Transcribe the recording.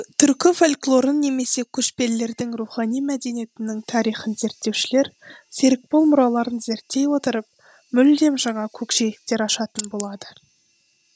түркі фольклорын немесе көшпелелірдің рухани мәдениетінің тарихын зерттеушілер серікбол мұраларын зерттей отырып мүлдем жаңа көкжиектер ашатын болады